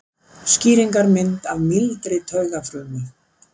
Skýringarmynd af mýldri taugafrumu.